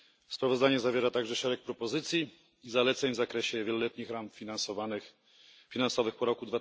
Sprawozdanie zawiera także szereg propozycji i zaleceń w zakresie wieloletnich ram finansowych po roku